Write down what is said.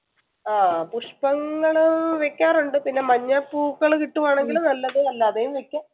ആഹ് പുഷ്പങ്ങള് വെക്കാറുണ്ട് പിന്നെ മഞ്ഞ പൂക്കള് കിട്ടുവാണെങ്കി നല്ലത് അല്ലാതെയും വെക്കാം